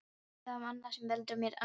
En það er annað sem veldur mér angri.